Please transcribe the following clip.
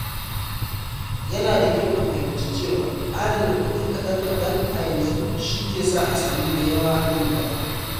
Ya na da kyau ka fahimci cewa adana kuɗi kaɗan-kaɗan a yanzu shi ke sa a sami da yawa nan gaba.